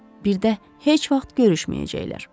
Birdə heç vaxt görüşməyəcəklər.